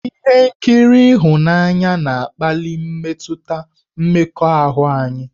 Ihe nkiri ịhụnanya na-akpali mmetụta mmekọahụ anyị.